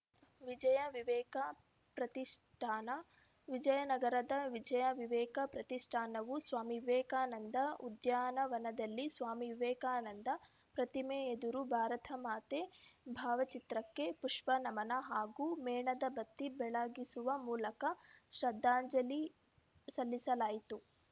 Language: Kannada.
ವಿಜಯ ವಿವೇಕ ಪ್ರತಿಷ್ಠಾನ ವಿಜಯನಗರದ ವಿಜಯ ವಿವೇಕ ಪ್ರತಿಷ್ಠಾನವು ಸ್ವಾಮಿ ವಿವೇಕಾನಂದ ಉದ್ಯಾನವನದಲ್ಲಿ ಸ್ವಾಮಿ ವಿವೇಕಾನಂದ ಪ್ರತಿಮೆ ಎದುರು ಭಾರತಮಾತೆ ಭಾವಚಿತ್ರಕ್ಕೆ ಪುಷ್ಪ ನಮನ ಹಾಗೂ ಮೇಣದ ಬತ್ತಿ ಬೆಳಗಿಸುವ ಮೂಲಕ ಶ್ರದ್ಧಾಂಜಲಿ ಸಲ್ಲಿಸಲಾಯಿತು